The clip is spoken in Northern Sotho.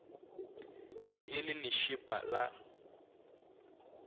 be e le lešepa la